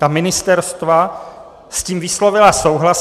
Ta ministerstva s tím vyslovila souhlas.